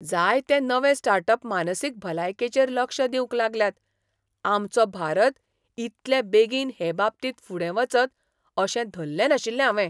जायते नवे start up मानसीक भलायकेचेर लक्ष दिवंक लागल्यात आमचो भारत इतले बेगीन हेबाबतींत फुडें वचत अशें धल्लें नाशिल्लें हावें.